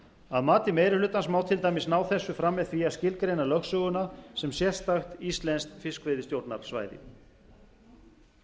að mati meiri hlutans má til dæmis ná þessu fram með því að skilgreina lögsöguna sem sérstakt íslenskt fiskveiðistjórnarsvæði varðandi